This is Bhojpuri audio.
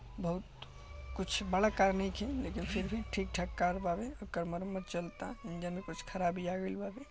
बहुत कुछ बड़ा कार नेखे लेकिन फिर भी ठीक-ठाक कार बावे ओकर मरम्मत चलता इंजन में कुछ खराबी आय गेल बाड़े।